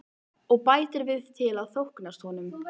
Og bætir við til að þóknast honum.